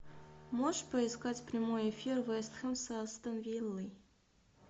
можешь поискать прямой эфир вест хэм с астон виллой